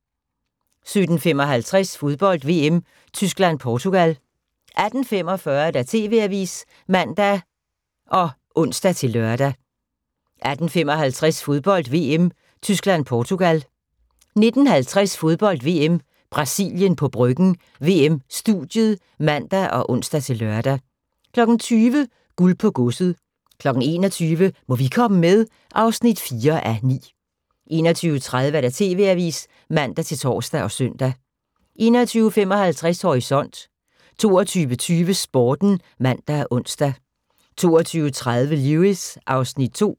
17:55: Fodbold: VM - Tyskland-Portugal 18:45: TV-avisen (man og ons-lør) 18:55: Fodbold: VM - Tyskland-Portugal 19:50: Fodbold: VM - Brasilien på Bryggen – VM-studiet (man og ons-lør) 20:00: Guld på godset 21:00: Må vi komme med? (4:9) 21:30: TV-avisen (man-tor og søn) 21:55: Horisont 22:20: Sporten (man og ons) 22:30: Lewis (Afs. 2)